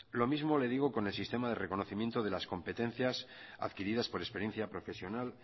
lo mismo le digo con el sistema de reconocimiento de las competencias adquiridas por experiencia profesional